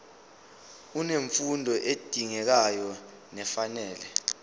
unemfundo edingekayo nefanele